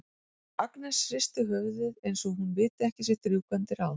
Agnes hristir höfuðið eins og hún viti ekki sitt rjúkandi ráð.